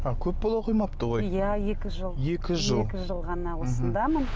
а көп бола қоймапты ғой иә екі жыл екі жыл екі жыл ғана осындамын